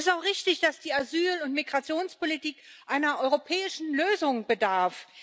Es ist auch richtig, dass die Asyl und Migrationspolitik einer europäischen Lösung bedarf.